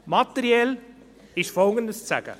Materiell ist Folgendes zu sagen: